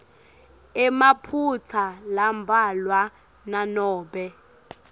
emaphutsa lambalwa nanobe